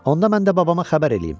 Onda mən də babama xəbər eləyim.